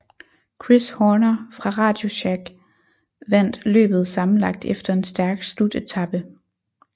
Chris Horner fra RadioShack vandt løbet sammenlagt efter en stærk slutetape